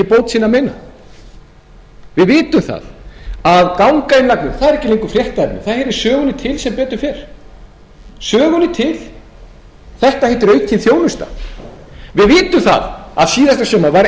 sinna við vitum að gangainnlagnir eru ekki lengur fréttaefni það heyrir sögunni til sem betur fer þetta heitir aukin þjónusta við vitum að í fyrrasumar var engin frétt nema ein þegar við kynntum